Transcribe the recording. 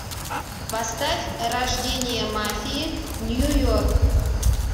поставь рождение мафии нью йорк